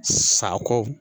Sako